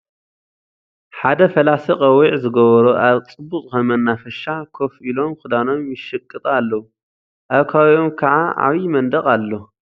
ሐደ ፈላሲ ቆቢዕ ዝገበሩ አብ ፅብቅ ዝኮነ መናፈሻ ኮፍ ኢሎም ክዳኖም ይሽቅጡ አለዉ አብ ከባቢኦም ካዓ ዓብይ መንድቅ አሎ ።